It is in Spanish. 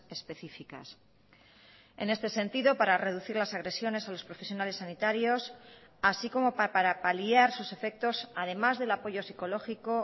específicas en este sentido para reducir las agresiones a los profesionales sanitarios así como para paliar sus efectos además del apoyo psicológico